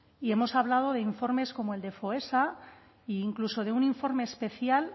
y hemos hablado de informes como el de foessa e incluso de un informe especial